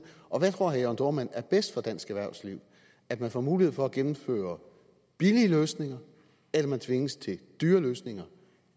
og hvad tror herre jørn dohrmann er bedst for dansk erhvervsliv at man får mulighed for at gennemføre billige løsninger eller at man tvinges til dyre løsninger